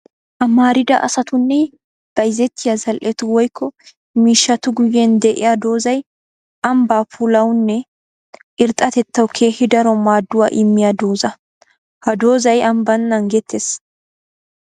Amarida asatunne bayzzettiya zal'ettu woykko miishshattu guyen de'iya doozay ambba puulawunne irxxatettawu keehi daro maaduwa immiya dooza. Ha doozay ambban naagetees.